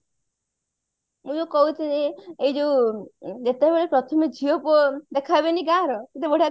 ମୁଁ ଯୋଉ କହୁଥିଲି ଏଇ ଯୋଉ ଯେତେବେଳେ ପ୍ରଥମେ ଝିଅ ପୁଅ ଦେଖା ହେବେନି ଗାଁ ର କେତେ ବଢିଆ